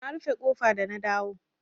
Na rufe ƙofa da na dawo.